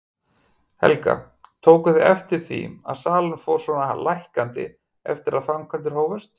Helga: Tóku þið eftir því að salan fór svona lækkandi eftir að framkvæmdir hófust?